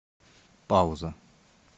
пауза